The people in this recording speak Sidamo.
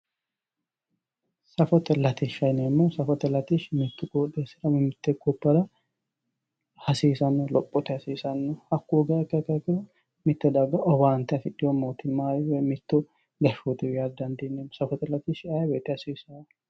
Safote latishsha yineemmohu, safote latishshi mitu qoxxeesira mite gobbara hasiisano lophote hasiisanohu hoogiha ikkiha ikkiro mitte daga owaante mootimmawinni affidhino woyi mittu gashshotiwi yaa didandiinanni, safote latishshi ayee woyte hasiisano